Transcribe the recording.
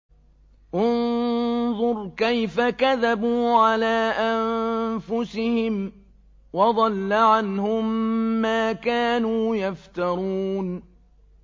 انظُرْ كَيْفَ كَذَبُوا عَلَىٰ أَنفُسِهِمْ ۚ وَضَلَّ عَنْهُم مَّا كَانُوا يَفْتَرُونَ